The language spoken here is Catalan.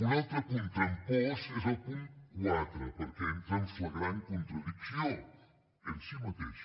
un altre punt trampós és el punt quatre perquè entra en flagrant contradicció en si mateix